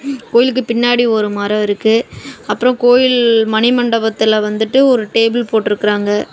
கோயில்கு பின்னாடி ஒரு மரோ இருக்கு அப்ரோ கோயில் மணிமண்டபத்துல வந்துட்டு ஒரு டேபிள் போட்டு இருகாங்க.